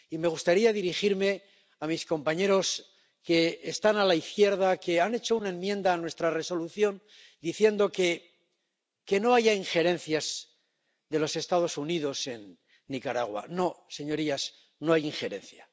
Me gustaría dirigirme a mis compañeros que están a la izquierda, que han hecho una enmienda a nuestra Resolución diciendo que no haya injerencias de los Estados Unidos en Nicaragua. No señorías, no hay injerencia.